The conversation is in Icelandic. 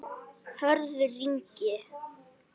Hörður Ingi.